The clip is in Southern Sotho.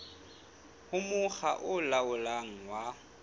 ho mokga o laolang wa